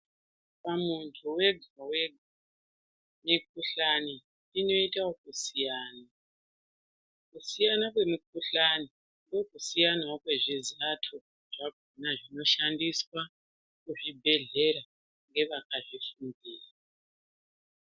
Pamwedzi wega wega mukhuhlani inoita ekusiyana, kusiyana kwemikuhlani ndokusiyanawo kwezvizato zvakona zvino shsndiswa muzvibhehlera ngevaka zvifundira.